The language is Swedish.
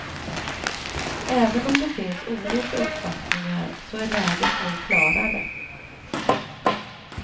Även om det finns olika uppfattningar så är läget nu klarare.